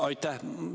Aitäh!